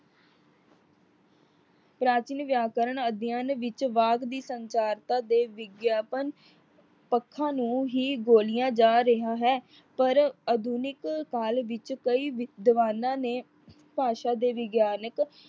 ਪ੍ਰਾਚੀਨ ਵਿਆਕਰਨ ਅਧਿਐਨ ਵਿੱਚ ਵਾਕ ਦੀ ਸੰਚਾਰਤਾ ਦੇ ਵਿਗਿਆਪਨ ਪੱਖਾਂ ਨੂੰ ਹੀ ਬੋਲਿਆ ਜਾ ਰਿਹਾ ਹੈ। ਪਰ ਅਧੁਨਿਕ ਕਾਲ ਵਿੱਚ ਕਈ ਵਿਦਵਾਨਾਂ ਨੇ ਭਾਸ਼ਾ ਦੇ ਵਿਗਿਆਨਿਕ